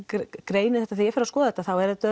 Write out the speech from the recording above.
greini þetta þegar ég fer að skoða þetta þá er þetta